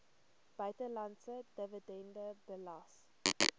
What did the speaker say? buitelandse dividend belas